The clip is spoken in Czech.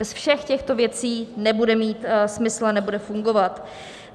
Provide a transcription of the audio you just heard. Bez všech těchto věcí nebude mít smysl a nebude fungovat.